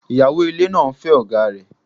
Ìyàwó ilé náà ń fẹ́ ọ̀gáa rẹ̀.